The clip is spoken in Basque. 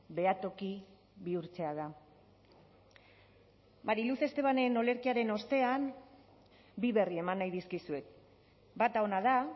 behatoki bihurtzea da mari luz estebanen olerkiaren ostean bi berri eman nahi dizkizuet bata ona da